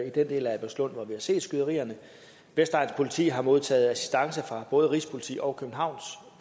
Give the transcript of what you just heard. i den del af albertslund hvor vi har set skyderierne vestegnens politi har modtaget assistance fra både rigspolitiet og københavns